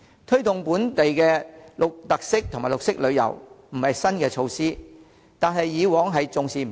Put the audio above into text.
推動本地特色及綠色旅遊不是新措施，但政府以往重視不夠。